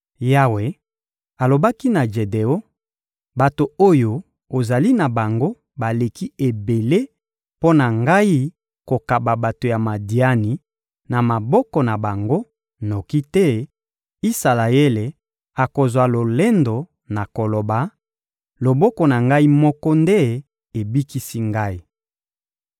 Yawe alobaki na Jedeon: «Bato oyo ozali na bango baleki ebele mpo na ngai kokaba bato ya Madiani na maboko na bango, noki te Isalaele akozwa lolendo na koloba: ‹Loboko na ngai moko nde ebikisi ngai.›